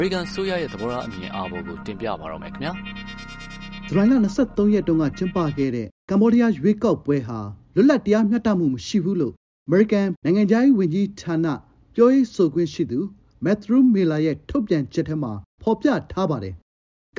ရိကန်အစိုးရရဲ့ သဘောထား အမြင်အာဘော်ကို တင်ပြပါမယ်။ “ဇူလိုင် ၂၃ ရက် ကမ္ဘောဒီးယား ရွေးကောက်ပွဲဟာ လွတ်လပ် တရားမျှတမှု မရှိဘူး” လို့ အမေရိကန်ပြည်ထောင်စု၊ နိုင်ငံခြားရေးဌာန ပြောရေးဆိုခွင့်ရှိသူ မက်သရူး မီလာ ရဲ့ ထုတ်ပြန်ချက်ထဲမှာ ဖော်ပြထားပါတယ်။